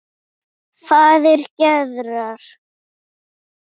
Faðir Gerðar.